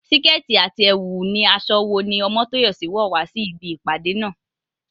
Síkẹ́ẹ̀tì àti ẹ̀wù ni aṣọ wo ní Omotoyosi wọ̀ wá sí ibi ìpàdé náà?